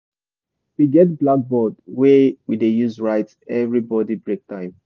we get blackboard wey we dey use write everybody break time